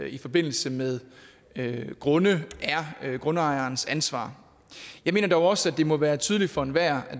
i forbindelse med grunde er grundejerens ansvar jeg mener dog også at det må være tydeligt for enhver